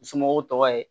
N somɔgɔw tɔgɔ ye